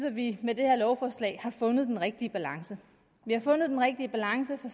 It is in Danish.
vi med det her lovforslag har fundet den rigtige balance vi har fundet den rigtige balance for